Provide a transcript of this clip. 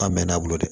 K'a bɛɛ n'a bolo dɛ